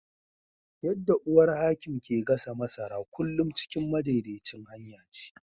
Yadda uwar Hakim ke gasa masara, kullum cikin madaidaicin hanya ce.